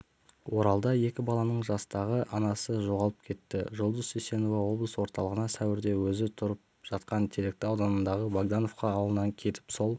оралда екі баланың жастағы анасы жоғалып кетті жұлдыз сисенова облыс орталығына сәуірде өзі тұрып жатқан теректі ауданындағы богдановка ауылынан кетіп сол